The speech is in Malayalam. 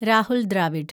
രാഹുൽ ദ്രാവിഡ്